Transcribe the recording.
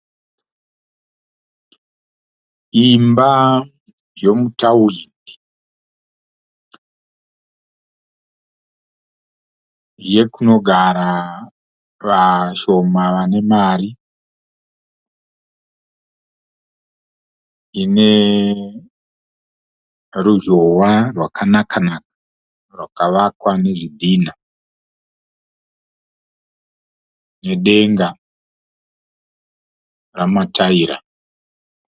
Imba yomutawindi. Yekunogara vashoma vane mari. Ine ruzhowa rwakanaka naka rwakavakwa nezvidhinha nedenga remataira.